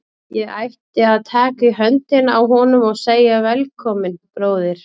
Ég ætti að taka í höndina á honum og segja: Velkominn, bróðir.